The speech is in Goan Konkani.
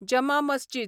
जमा मस्जीद